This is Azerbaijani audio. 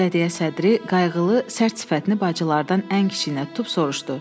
Bələdiyyə sədri qayğılı, sərt sifətini bacılardan ən kiçiyinə tutub soruşdu.